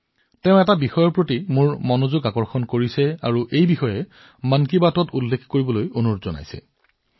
তেওঁ মোৰ দৃষ্টি এটা বিষয়ৰ প্ৰতি আকৰ্ষণ কৰিছে আৰু মন কী বাতত উল্লেখ কৰিবলৈ কৈছে